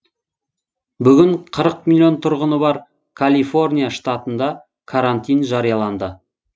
бүгін қырық миллион тұрғыны бар калифорния штатында карантин жарияланды